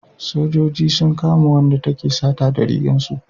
sojoji sun kama wanda take sata da rigar su